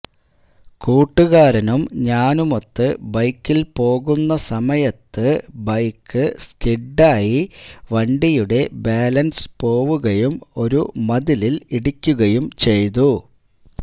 കൂട്ടുകാരനും ഞാനുമൊത്ത് ബൈക്കിൽ പോകുന്ന സമയത്തു ബൈക്ക് സ്കിഡ് ആയി വണ്ടിയുടെ ബാലൻസ് പോവുകയും ഒരു മതിലിൽ ഇടിക്കുകയും ചെയ്തു